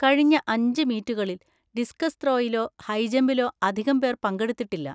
കഴിഞ്ഞ അഞ്ച് മീറ്റുകളിൽ ഡിസ്കസ് ത്രോയിലോ ഹൈജമ്പിലോ അധികം പേർ പങ്കെടുത്തിട്ടില്ല.